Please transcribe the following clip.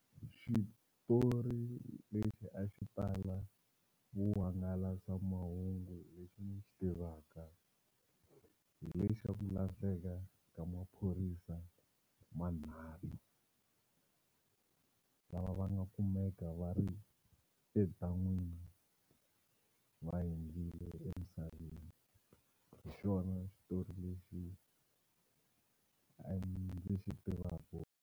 Xitori lexi a xi tala vuhangalasamahungu lexi ni xi tivaka hi lexa ku lahleka ka maphorisa manharhu lava va nga kumeka va ri edan'wini va hundzile emisaveni hi xona xitori lexi ndzi xi tivaku.